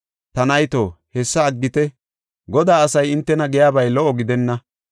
Ta nayto, hessa aggite; Godaa asay hintena giyabay lo77o gidenna.